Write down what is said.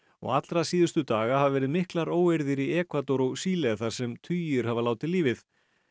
allra síðustu daga hafa verið miklar óeirðir í Ekvador og Síle þar sem tugir hafa látið lífið